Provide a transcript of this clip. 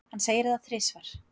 Hann segir það þrisvar.